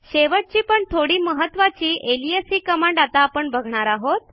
शेवटची पण थोडी महत्त्वाची अलियास ही कमांड आता आपण बघणार आहोत